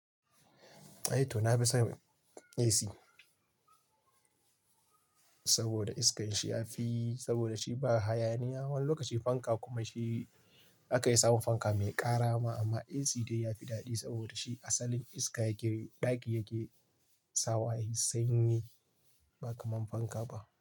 Toh na fi son AC saboda iska yashi a fi saboda shi ba hayaniya. Wani lokaci fanka kuma shi zaka iya samun fanka mai ƙara ma amma AC dai ya fi daɗi saboda shi asalin iska yake ɗaki yake sawa sanyi ba kamar fanka ba.